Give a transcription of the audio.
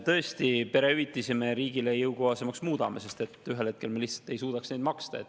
Tõesti, perehüvitisi muudame me riigile jõukohasemaks, sest ühel hetkel me lihtsalt ei suudaks neid maksta.